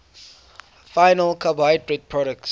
final carbohydrate products